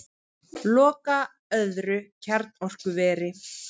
Loka öðru kjarnorkuveri